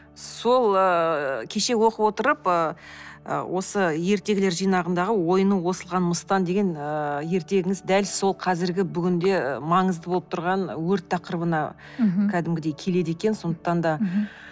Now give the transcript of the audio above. сол ыыы кеше оқып отырып ыыы осы ертегілер жинағындағындағы ойыны осылған мыстан деген ыыы ертегіңіз дәл сол қазіргі бүгінде маңызды болып тұрған өрт тақырыбына кәдімгідей келеді екен сондықтан да